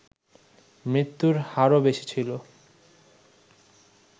মৃত্যুর হারও বেশি ছিল